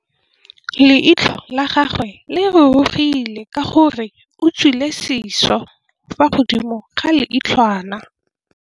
Leitlhô la gagwe le rurugile ka gore o tswile sisô fa godimo ga leitlhwana.